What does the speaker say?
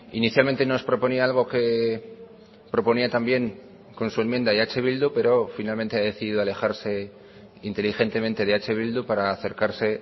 inicialmente nos proponía algo que proponía también con su enmienda eh bildu pero finalmente ha decidido alejarse inteligentemente de eh bildu para acercarse